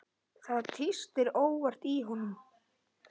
Það tístir óvart í honum.